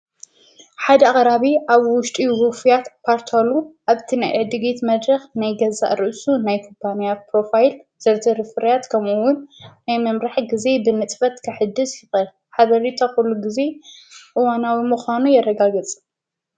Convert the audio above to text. ሓደ ኣቅራቢ ኣብ ውሽጢ ውፍያት ፓርታሉ ኣብቲ ናይ ዕድጊት መድረኽ ናይገዛእ ርእሱ ናይ ኩፓንያ ፕሮፋይል ዘኢ ፍርያት ከምውን ናይ መምራሕ ጊዜ ብምፅፈት ከሕድስ ይቐእል ሓበሬታ ዂሉ ጊዜ እዋናዊ ምዃኖ የረጋግፅ።